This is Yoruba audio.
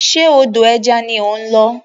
Ṣe odò ẹja ni ó ń lọ?